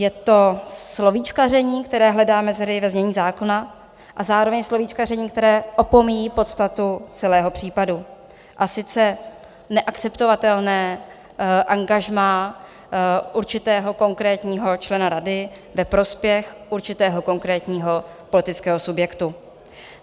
Je to slovíčkaření, které hledá mezery ve znění zákona, a zároveň slovíčkaření, které opomíjí podstatu celého případu, a sice neakceptovatelné angažmá určitého konkrétního člena rady ve prospěch určitého konkrétního politického subjektu.